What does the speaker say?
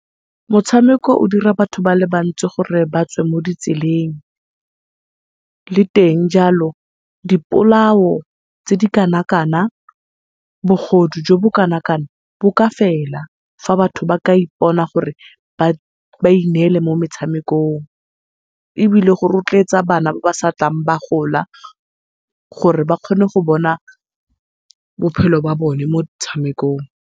Motshameko o dira batho ba le bantsi gore batswe mo ditseleng. Le teng jalo dipolao tse di kana-kana, bogodu jo bo kana-kana bo ka fela fa batho ba ka ipona gore ba ineele mo metshamekong, ebile go rotloetsa bana ba ba sa tlang ba gola gore ba kgone go bona bophelo ba bone mo motshamekong.